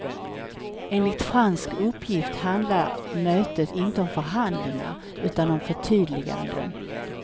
Enligt fransk uppgift handlar mötet inte om förhandlingar, utan om förtydliganden.